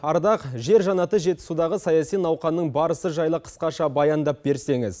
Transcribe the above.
ардақ жер жаннаты жетісудағы саяси науқанның барысы жайлы қысқаша баяндап берсеңіз